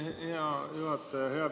Aitäh, hea juhataja!